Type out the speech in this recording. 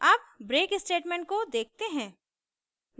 अब break statement को देखते हैं